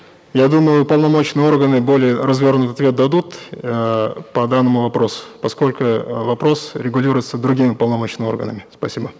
я думаю уполномоченные органы более развернутый ответ дадут эээ по данному вопросу поскольку э вопрос регулируется другими уполномоченными органами спасибо